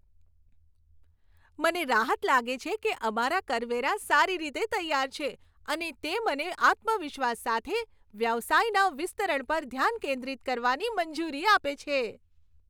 મને રાહત લાગે છે કે અમારા કરવેરા સારી રીતે તૈયાર છે અને તે મને આત્મવિશ્વાસ સાથે વ્યવસાયના વિસ્તરણ પર ધ્યાન કેન્દ્રિત કરવાની મંજૂરી આપે છે.